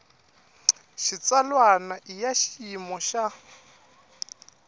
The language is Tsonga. xitsalwana i ya xiyimo xa